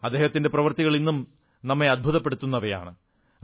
അദ്ദേഹത്തിന്റെ പ്രവൃത്തികൾ ഇന്നും നമ്മെ അത്ഭുതപ്പെടുത്തുന്നതാണ്